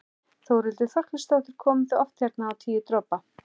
Þórhildur Þorkelsdóttir: Komið þið oft hérna á Tíu dropa?